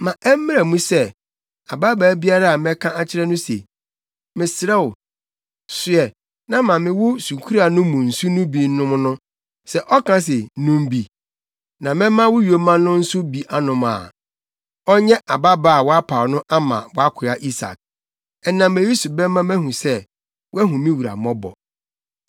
Ma ɛmmra mu sɛ, ababaa biara a mɛka akyerɛ no se, ‘Mesrɛ wo, soɛ na ma me wo sukuruwa no mu nsu no bi nnom no,’ sɛ ɔka se, ‘Nom bi, na mɛma wo yoma no nso bi anom’ a, ɔnyɛ ababaa a woapaw no ama wʼakoa Isak. Ɛnam eyi so bɛma mahu sɛ, woahu me wura mmɔbɔ.”